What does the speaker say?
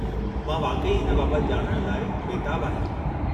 मां वाक़ई हिन बाबति ॼाणणु लाइ बेताबु आहियां।